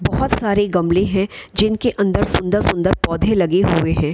बहुत सारे गमले हैं जिनके अंदर सुन्दर सुन्दर पौधे लगे हुए हैं |